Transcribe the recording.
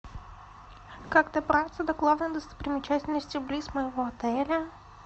как добраться до главной достопримечательности близ моего отеля